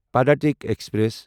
پڑاتٕکۍ express